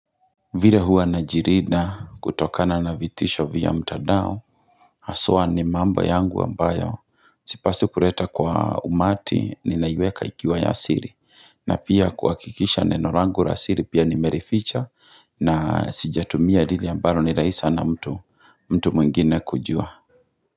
Vile hua na jirida kutokana na vitisho vya mtandao Haswa ni mambo yangu ambayo Sipaswi kuleta kwa umati ni naiweka ikiwa yasiri na pia kuhakikisha neno langu yasiri pia nimerificha na sijatumia lile ambalo ni rahisi sana mtu mtu mwingine kujua.